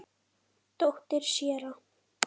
Dóttir séra